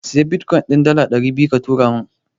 Siyi Bitkoyin din dala ɗari biyu ka turo min.